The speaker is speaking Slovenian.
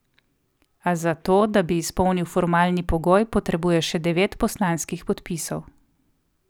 A za to, da bi izpolnil formalni pogoj, potrebuje še devet poslanskih podpisov.